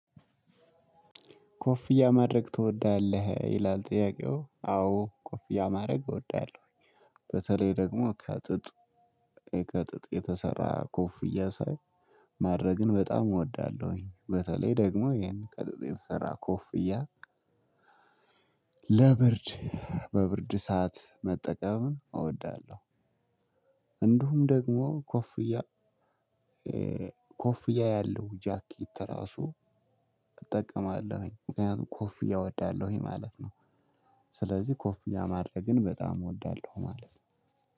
ኮፍያ ማድረግ ትወዳለህ? ይላል ጥያቄው አዎ ኮፍያ ማድረግ እወዳለሁ። በተለይ ደግሞ ከጥጥ ከጥጥ የተሰራ ኮፍያ ሳይ ማድረግን በጣም እወዳለሁኝ በተለይ ደግሞ ይሄን ቀጥጥ የተሰራ ኮፍያ። ለብርድ በብርድ ሰዓት መጠቀም እወዳለሁ። እንዲሁም ደግሞ ኮፍያ ኮፍያ ያለው ጃኬት ራሱ እጠቀማለሁኝ። ምክንያቱም ኮፍያ እወዳለሁኝ ማለት ነው። ስለዚህ ኮፍያ ማድረግን በጣም እወዳለሁ ማለት ነው።